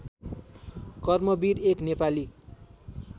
कर्मवीर एक नेपाली